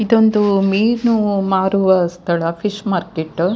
ಇದೊಂದು ಮೀನು ಮಾರುವ ಸ್ಥಳ ಫಿಶ್ ಮಾರ್ಕೆಟ್ .